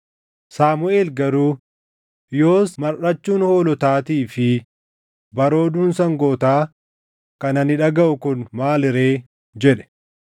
Saamuʼeel garuu, “Yoos marʼachuun hoolotaatii fi barooduun sangootaa kan ani dhagaʼu kun maali ree?” jedhe.